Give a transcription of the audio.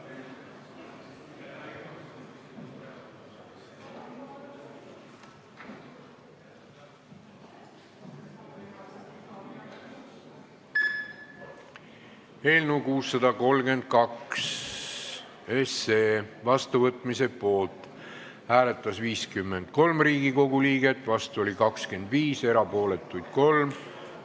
Hääletustulemused Eelnõu 632 seadusena vastuvõtmise poolt hääletas 53 Riigikogu liiget, vastu oli 25, erapooletuks jäi 3.